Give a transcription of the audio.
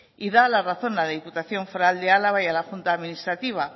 y daba la razón a la diputación foral de álava y a la junta administrativa